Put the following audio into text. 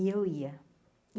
E eu ia.